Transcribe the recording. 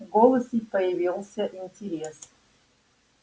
в голосе появился интерес